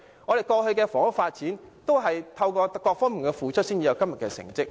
過去的房屋發展，亦有賴各方付出才有今天的成績。